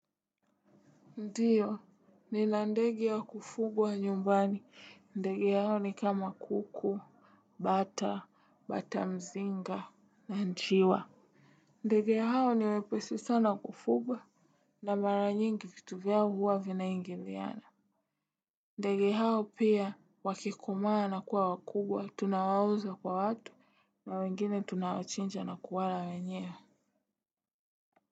Ndiyo, nina ndege wa kufugwa nyumbani. Ndege hao ni kama kuku, bata, bata mzinga, na njiwa. Ndege hao ni wepesi sana kufugwa na mara nyingi kitu vya huwa vinaingi liana. Ndege hao pia, wakikomaa na kuwa wakubwa, tunawauza kwa watu na wengine tunawachinja na kuwala wenyewe.